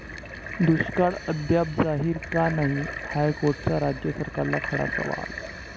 दुष्काळ अद्याप जाहीर का नाही? हायकोर्टाचा राज्य सरकारला खडा सवाल